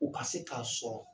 U ka se k'a sɔrɔ